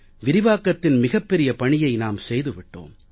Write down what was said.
விரிவாக்கத்தின் மிகப் பெரிய பணியை நாம் செய்து விட்டோம்